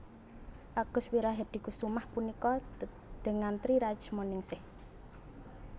Agus Wirahadikusumah punikah dengan Tri Rachmaningish